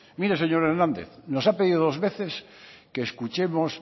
mire señor hernández nos ha pedido dos veces que escuchemos